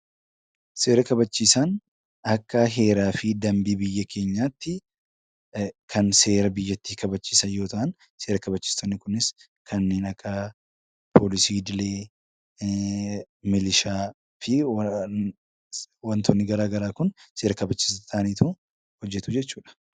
Seera kabachiisaan Akka heeraa fi dambii biyya keenyaatti kan seera biyyattii kabachiisan yoo ta'an, seera kabachiisonni Kunis kanneen akka poolisii idilee , milishaa fi wantoonni garaagaraa Kun seera kabachiisaa ta'anii hojjatu jechuudha.